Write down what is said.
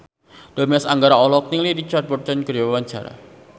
Dimas Anggara olohok ningali Richard Burton keur diwawancara